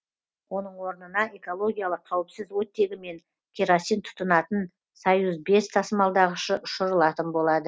оның орнына экологиялық қауіпсіз оттегі мен керосин тұтынатын союз бес тасымалдағышы ұшырылатын болады